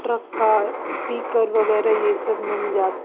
truck का speaker वगैरह यह सब मिल जा--